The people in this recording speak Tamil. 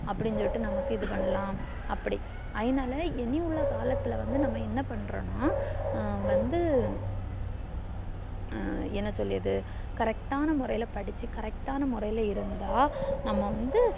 அப்டின்னு சொல்லிட்டு நமக்கு இது பண்ணலாம் அப்டி அய்னால இனி உள்ள காலத்துள்ள வந்து என்ன பன்றோன்னா வந்து ஹம் என்ன சொல்லியது correct ன்னா முறையில்ல படிச்சி correct ன்னா முறையில்ல இருந்தா நம்ம வந்து